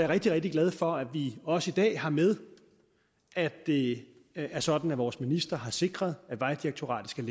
rigtig rigtig glad for at vi også i dag har med at det er sådan at vores minister har sikret at vejdirektoratet skal